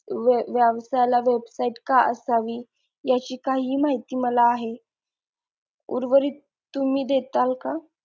व्य व्यवसायाला website का असावी याची काही माहिती मला आहे उर्वरित तुम्ही देताल का?